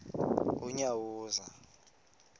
unyawuza